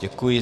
Děkuji.